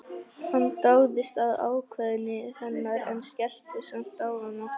Hann dáðist að ákveðni hennar en skellti samt á hana.